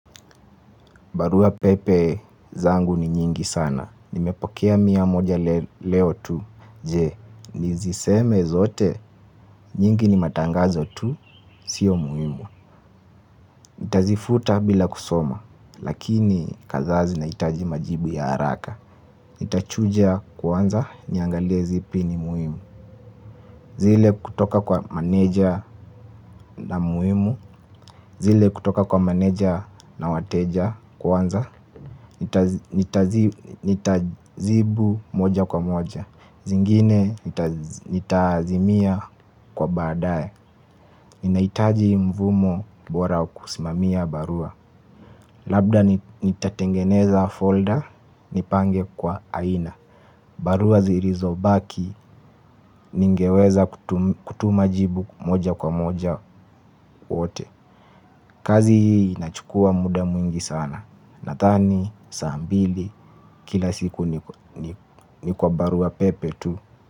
Barua pepe zangu ni nyingi sana. Nimepokea mia moja leo tuu. Je, niziseme zote? Nyingi ni matangazo tu. Sio muhimu, nitazifuta bila kusoma. Lakini kadha zinahitaji majibu ya haraka. Nitachuja kwanza, niangalie zipi ni muhimu. Zile kutoka kwa meneja, na muhimu zile kutoka kwa manager na wateja kwanza. Nitajibu mmoja kwa mmoja, zingine nitazimia kwa baadae. Ninahitaji mfumo bora wa kusimamia barua. Labda nitatengeneza folder, nipange kwa aina. Barua zilizo baki, ningeweza kutuma jibu mmoja kwa mmoja wote. Kazi hii inachukua muda mwingi sana. Nathani, saambili, kila siku ni kwa barua pepe tu.